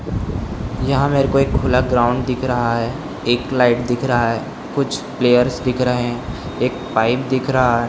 यहाँ मेरे को एक खुला ग्राउंड दिख रहा है एक लाइट दिख रहा है कुछ प्लेयर्स दिख रहे हैं एक पाइप दिख रहा है।